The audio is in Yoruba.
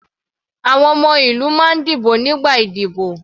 Àwọn ọmọ ìlú máa ń dìbò nígbà ìdíbò.